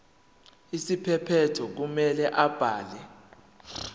isiphephelo kumele abhale